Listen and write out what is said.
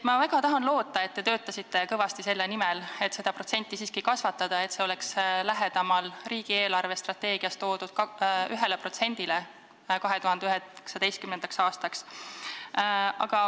Ma väga loodan, et te töötasite kõvasti selle nimel, et seda protsenti siiski kasvatada, et see oleks lähemal riigi eelarvestrateegias toodud 1%-le 2019. aastaks.